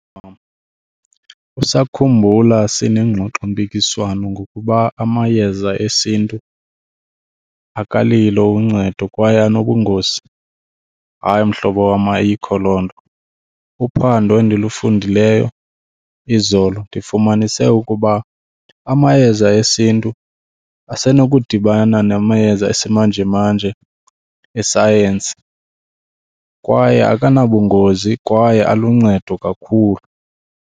wam, usakhumbula sinengxoxompikiswano ngokuba amayeza esiNtu akalilo uncedo kwaye anobungozi? Hayi mhlobo wam, ayikho loo nto. Uphando endilufundileyo izolo, ndifumanise ukuba amayeza esiNtu asenokudibana namayeza esimanjemanje esayensi kwaye akanabungozi kwaye aluncedo kakhulu.